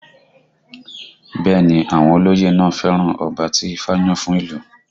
Bẹ́ẹ̀ ni àwọn olóyè náà fẹ́ràn ọba tí ifá yàn fún ìlú